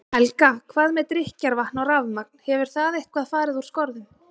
Helga: Hvað með drykkjarvatn og rafmagn, hefur það eitthvað fari úr skorðum?